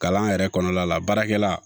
Kalan yɛrɛ kɔnɔna la baarakɛla